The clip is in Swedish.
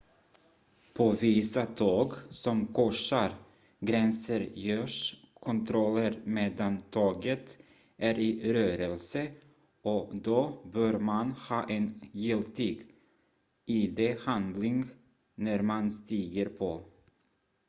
på vissa tåg som korsar gränser görs kontroller medan tåget är i rörelse och då bör man ha en giltig id-handling när man stiger på